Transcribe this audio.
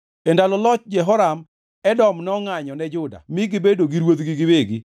E ndalo loch Jehoram, Edom nongʼanyo ne Juda mi gibedo gi ruodhgi giwegi.